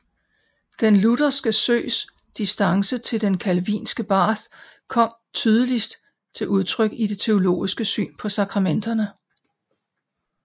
Den lutherske Søes distance til den calvinske Barth kom tydeligst til udtryk i det teologiske syn på sakramenterne